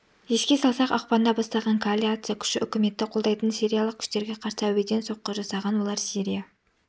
еске салсақ ақпанда бастаған коалиция күші үкіметті қолдайтын сириялық күштерге қарсы әуеден соққы жасаған олар сирия